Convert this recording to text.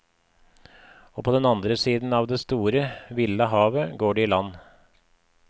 Og på den andre siden av det store, ville havet, går de i land.